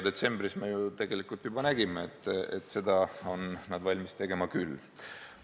Detsembris me ju tegelikult juba nägime, et seda ollakse valmis tegema küll.